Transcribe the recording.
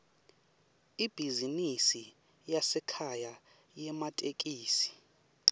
ibhizinisi yasekhaya yematekisi